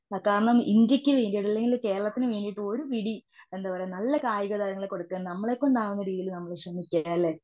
കാരണം ഈ ഇന്ത്യക്ക് വേണ്ടിയെങ്കിലും അല്ലങ്കിൽ കേരളത്തിന് വേണ്ടീട്ട് ഒരു പിടി എന്താ പറയുക നല്ല കായിക താരങ്ങളെ കൊടുക്കുക. നമ്മളെ കൊണ്ട് ആകുന്ന രീതിയിൽ ശ്രെമിക്കുക അല്ലെ?